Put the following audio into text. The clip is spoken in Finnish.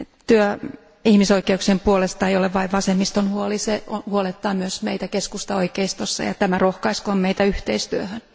Työ ihmisoikeuksien puolesta ei ole pelkästään vasemmiston huoli, se huolettaa myös meitä keskustaoikeistossa, ja tämä rohkaiskoon meitä yhteistyöhön.